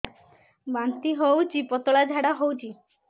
ବାନ୍ତି ହଉଚି ପତଳା ଝାଡା ହଉଚି